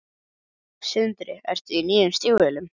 Sindri: Ertu í nýjum stígvélum?